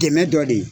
Dɛmɛ dɔ de ye